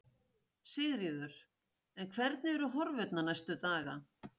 Sigríður: En hvernig eru horfurnar næstu daga?